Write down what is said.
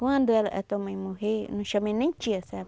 Quando ela a tua mãe morrer, não chamei nem tia, sabe?